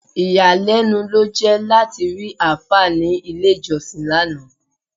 Ìyàlẹ́nu ló jẹ́ láti rí àáfà ní ilé-ìjọ́sìn lánàá.